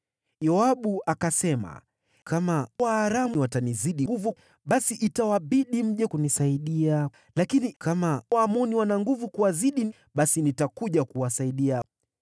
Yoabu akasema, “Kama Waaramu watanizidi nguvu, basi itawabidi mje kunisaidia. Lakini kama Waamoni watawazidi nguvu, basi nitakuja kuwasaidia.